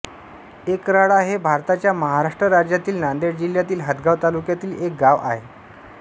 एकराळा हे भारताच्या महाराष्ट्र राज्यातील नांदेड जिल्ह्यातील हदगाव तालुक्यातील एक गाव आहे